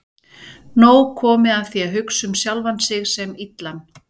Nóg komið af því að hugsa um sjálfan mig sem illan.